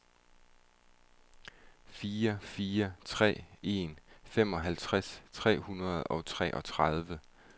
fire fire tre en femoghalvtreds syv hundrede og treogtredive